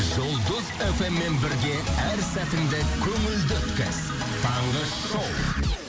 жұлдыз эф эм мен бірге әр сәтіңді көңілді өткіз таңғы шоу